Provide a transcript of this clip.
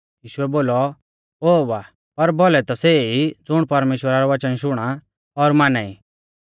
यीशुऐ बोलौ ओ बा पर भौलै ता सै ई ज़ुण परमेश्‍वरा रै वच़न शुणा और माना ई